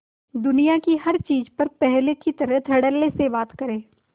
दुनिया की हर चीज पर पहले की तरह धडल्ले से बात करे